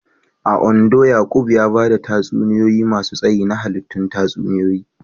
A Ondo, Yaqub ya ba da tatsuniyoyi masu tsayi na hallitun tatsuniyoyi